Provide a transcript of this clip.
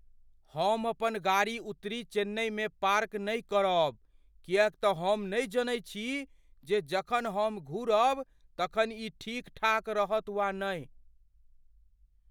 हम अपन गाड़ी उत्तरी चेन्नईमे पार्क नहि करब किएक तऽ हम नहि जनैत छी जे जखन हम घुरब तखन ई ठीक ठाक रहत वा नहि।